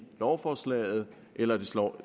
lovforslaget eller det står